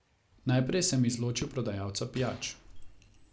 Najprej sem izločil prodajalca pijač.